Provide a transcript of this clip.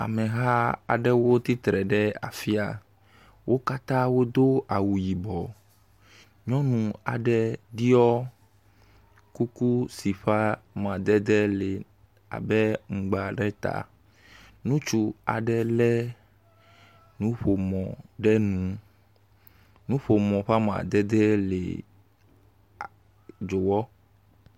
Ameha aɖewo tsitre ɖe afia, wo katã wodo awu yibɔ. Nyɔnu aɖe ɖɔ kuku si ƒe amadede le abe amagba ɖe ta. Ŋutsu aɖe lé nuƒomɔ ɖe nu. Nuƒomɔ ƒe amadede le dzowɔ.